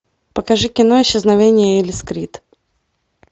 покажи кино исчезновение элис крид